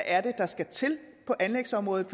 er der skal til på anlægsområdet